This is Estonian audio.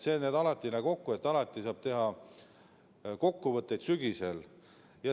Nii et kokkuvõtteid saab alati teha sügisel.